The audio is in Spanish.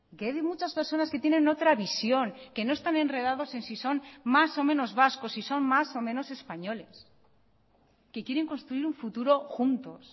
que hay muchas personas que tienen otra visión que no están enredados en si son más o menos vascos si son más o menos españoles que quieren construir un futuro juntos